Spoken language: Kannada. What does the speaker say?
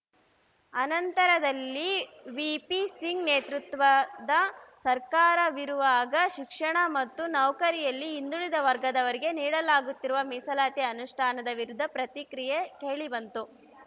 ಅನಂತರದಲ್ಲಿ ವಿ ಪಿ ಸಿಂಗ್‌ ನೇತೃತ್ವದ ಸರ್ಕಾರವಿರುವಾಗ ಶಿಕ್ಷಣ ಮತ್ತು ನೌಕರಿಯಲ್ಲಿ ಹಿಂದುಳಿದ ವರ್ಗದವರಿಗೆ ನೀಡಲಾಗುತ್ತಿರುವ ಮೀಸಲಾತಿ ಅನುಷ್ಠಾನದ ವಿರುದ್ಧ ಪ್ರತಿಕ್ರಿಯೆ ಕೇಳಿಬಂತು